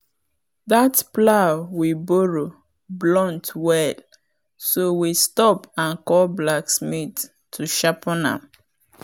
that plow we borrow blunt well so we stop and call blacksmith to sharpen am.